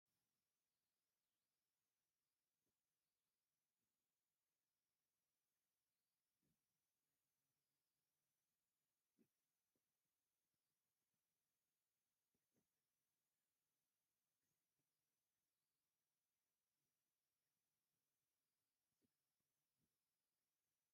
ኣብዚ ሓደ ሰብኣይ ኣብቲ ጽርግያ ክኸይድ ይርአ። ፍኹስ ዝበለ ሕብሪ ዘለዎ ልሕሉሕ ሸሚዝ ተኸዲኑ ብድሕሪኡ ዝተፈላለያ ታክሲታት ይረኣያ ኣለዋ፣ ከም ታክሲ። ብዘይካ’ዚ ኣብ ወሰን ጽርግያ ኮፍ ዝበሉ መካይንን ሰባትን’ውን ይረኣዩ።